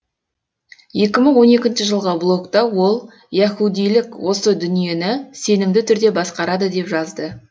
екі мың он екінші жылғы блогта ол яһудилік осы дүниені сенімді түрде басқарады деп жазды